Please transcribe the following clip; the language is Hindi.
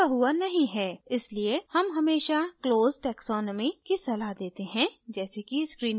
इसलिए हम हमेशा closed taxonomy की सलाह देते हैं जैसे कि screen पर है